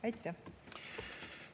Aitäh!